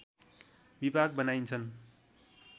विभाग बनाइन्छन्